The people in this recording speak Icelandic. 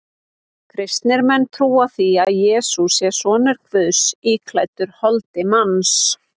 Kristnir menn trúa því að Jesús sé sonur Guðs íklæddur holdi manns.